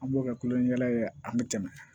An b'o kɛ kulon ni yɛlɛ ye an be tɛmɛ